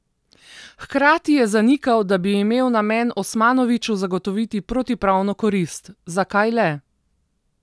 Hkrati je zanikal, da bi imel namen Osmanoviću zagotoviti protipravno korist: 'Zakaj le?